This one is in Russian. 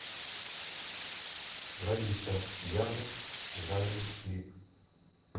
лолита я в жалю клип